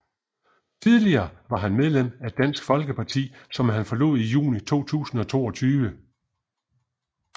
Tidligere var han medlem af Dansk Folkeparti som han forlod i juni 2022